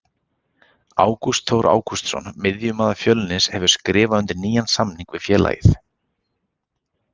Ágúst Þór Ágústsson miðjumaður Fjölnis hefur skrifað undir nýjan samning við félagið.